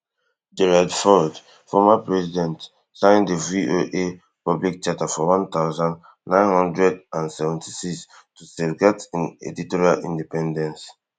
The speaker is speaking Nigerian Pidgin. gerald ford former president sign di VOA public charter for one thousand, nine hundred and seventy-six tu safeguard in editorial independence